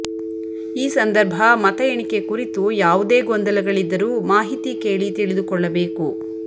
ಈ ಸಂದರ್ಭ ಮತ ಎಣಿಕೆ ಕುರಿತು ಯಾವುದೇ ಗೊಂದಲಗಳಿದ್ದರೂ ಮಾಹಿತಿ ಕೇಳಿ ತಿಳಿದುಕೊಳ್ಳ ಬೇಕು